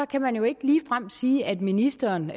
kan man jo ikke ligefrem sige at ministeren